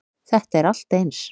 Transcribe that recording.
Þetta er allt eins.